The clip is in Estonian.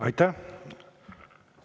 Aitäh!